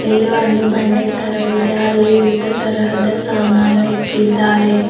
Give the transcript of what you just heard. ಇಲ್ಲಿ ಒಂದು ಬಂಡೆ ತರವಿದೆ ಅಲ್ಲಿ ವಿವಿಧ ತರಹದ ಸಾಮಾನು ಇಟ್ಟಿದ್ದಾರೆ.